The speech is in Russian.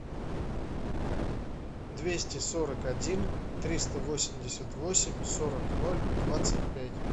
двести сорок один триста восемьдесят восемь сорок ноль двадцать пять